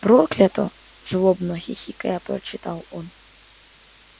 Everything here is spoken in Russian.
проклято злобно хихикая прочитал он